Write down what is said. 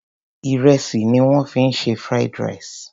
Ìrẹsì ni wọ́n fi se Fried rice.